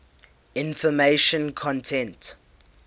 information content